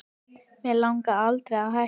Mig langaði aldrei að hætta